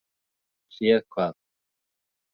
Séð hvað?